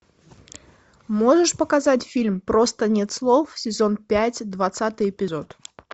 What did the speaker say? можешь показать фильм просто нет слов сезон пять двадцатый эпизод